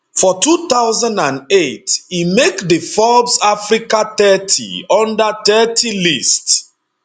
for 2008 e make di forbes africa thirty under thirty list